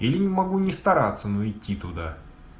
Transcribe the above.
или могу не стараться но идти туда